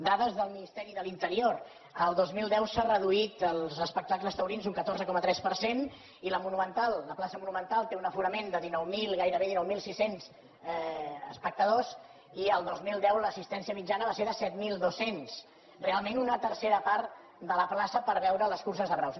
dades del ministeri de l’interior el dos mil deu s’han reduït els espectacles taurins un catorze coma tres per cent i la monumental la plaça monumental té un aforament de dinou mil gairebé dinou mil sis cents espectadors i el dos mil deu l’assistència mitjana va ser de set mil dos cents realment una tercera part de la plaça per veure les curses de braus